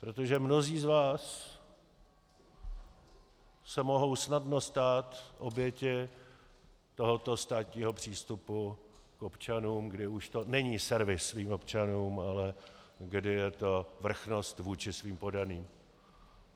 Protože mnozí z vás se mohou snadno stát obětí tohoto státního přístupu k občanům, kdy už to není servis svým občanům, ale kdy je to vrchnost vůči svým poddaným.